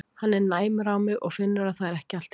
Hann er næmur á mig og finnur að það er ekki allt í lagi.